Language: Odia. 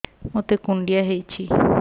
ମୋତେ କୁଣ୍ଡିଆ ହେଇଚି